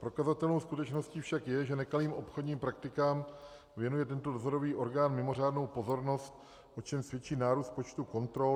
Prokazatelnou skutečností však je, že nekalým obchodním praktikám věnuje tento dozorový orgán mimořádnou pozornost, o čemž svědčí nárůst počtu kontrol.